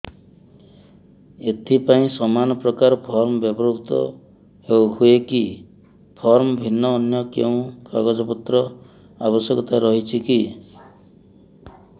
ଏଥିପାଇଁ ସମାନପ୍ରକାର ଫର୍ମ ବ୍ୟବହୃତ ହୂଏକି ଫର୍ମ ଭିନ୍ନ ଅନ୍ୟ କେଉଁ କାଗଜପତ୍ରର ଆବଶ୍ୟକତା ରହିଛିକି